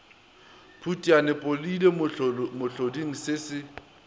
phutiane podile mohloding se se